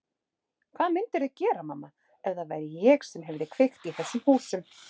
Hvað mundirðu gera, mamma, ef það væri ég sem hefði kveikt í þessum húsum?